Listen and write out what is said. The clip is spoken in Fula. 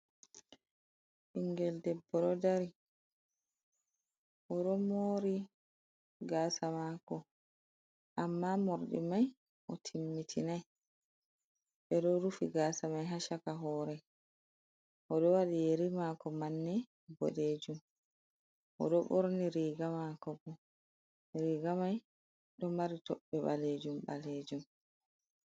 Ɓingel debbo ɗo dari, o ɗo moori gaasa maako, amma morɗi mai o timmitinai, ɓe ɗo rufi gaasa mai ha chaka hoore, o ɗo waɗi yeri maako manne boɗejum, o ɗo ɓorni riiga maako bo, riiga mai ɗo mari toɓɓe ɓaleejum-ɓaleejum.